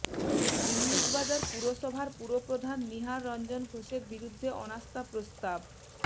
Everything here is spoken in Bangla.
ইংলিশবাজার পুরসভার পুরপ্রধান নিহার রঞ্জন ঘোষের বিরুদ্ধে অনাস্থা প্রস্তাব